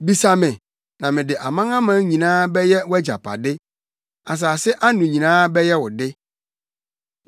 Bisa me, na mede amanaman nyinaa bɛyɛ wʼagyapade, asase ano nyinaa bɛyɛ wo de.